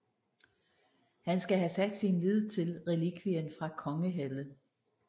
Han skal have sat sin lid til relikvien fra Konghelle